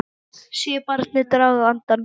Sé barnið draga andann.